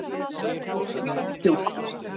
Hann andaði djúpt.